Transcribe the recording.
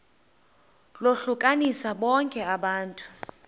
lohlukanise bonke abantu